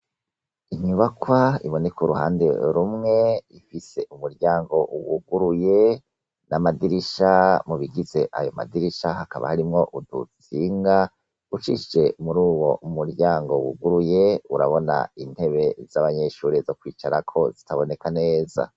Inyubakwa iboneka uruhande rumwe , Ifise umuryango wuguruye, namadirisha mubigize ayo madirisha udutsinga, ucishije muri uwo muryango wuguruye urabona intebe zabanyeshure intebe zokwicarako ziboneka neza.